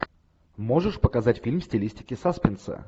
можешь показать фильм в стилистике саспенса